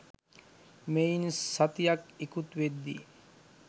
මෙයින් සතියක් ඉකුත් වෙද්දී